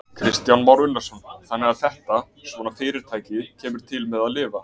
Kristján Már Unnarsson: Þannig að þetta, svona fyrirtæki kemur til með að lifa?